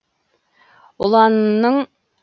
ұланының